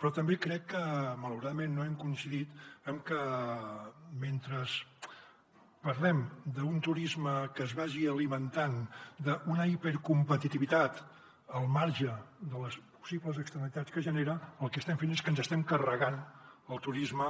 però també crec que malauradament no hem coincidit amb que mentre parlem d’un turisme que es vagi alimentant d’una hipercompetitivitat al marge de les possibles externalitats que genera el que estem fent és que ens estem carregant el turisme